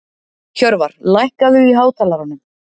Hjörvar, lækkaðu í hátalaranum.